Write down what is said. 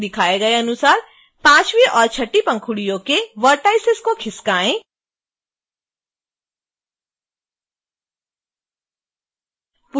दिखाए गए अनुसार पाँचवीं और छठवीं पंखुड़ियों के vertices को खिसकाएँ